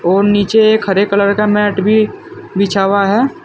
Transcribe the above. और नीचे एक हरे कलर का मैट भी बिछा हुआ है।